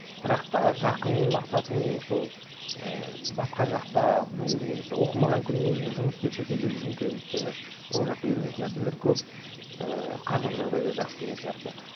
бірақ та жақын мақсатым менің сол ііі басқа жақта болу немесе оқымаған күннің өзінде жұмыс істеп шетелде жүргім келеді өйткені ол жақта үйренетін нәрселер де көп ііі қаржылық жағдайы да жақсы деген сияқты